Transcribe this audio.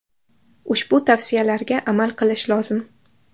Ushbu tavsiyalarga amal qilish lozim.